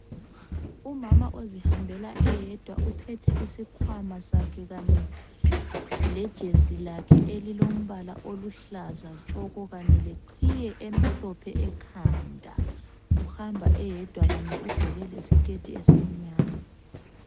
Umama ozihambela eyedwa uphethe isikhwama sakhe kanye lejesi lakhe elilombala oluhlaza tshoko, kanye leqhiye emhlophe ekhanda, uhamba eyedwa kanye ugqoke lesiketi esimnyama.